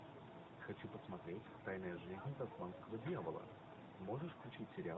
хочу посмотреть тайная жизнь тасманского дьявола можешь включить сериал